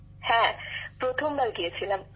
বিশাখাজীঃ হ্যাঁ প্রথমবার গিয়েছিলাম